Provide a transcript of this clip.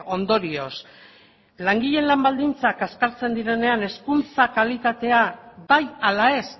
ondorioz langileen lan baldintzak kaskartzen direnean hezkuntza kalitatea bai ala ez